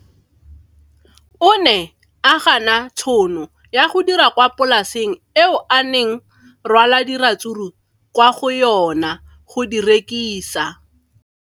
O ne a gana tšhono ya go dira kwa polaseng eo a neng rwala diratsuru kwa go yona go di rekisa.